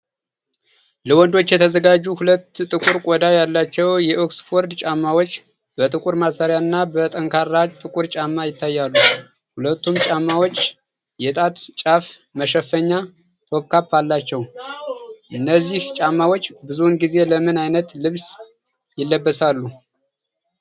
ለወንዶች የተዘጋጁ ሁለት ጥቁር ቆዳ ያላቸው የኦክስፎርድ ጫማዎች፣ በጥቁር ማሰሪያና በጠንካራ ጥቁር ጎማ ይታያሉ። ሁለቱም ጫማዎች የጣት ጫፍ መሸፈኛ (toe cap) አላቸው። እነዚህ ጫማዎች ብዙውን ጊዜ ለምን ዓይነት ልብስ ይለበሳሉ?